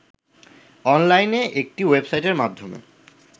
অনলাইনে একটি ওয়েবসাইটের মাধ্যমে